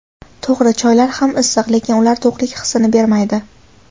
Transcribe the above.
To‘g‘ri, choylar ham issiq, lekin ular to‘qlik hissini bermaydi.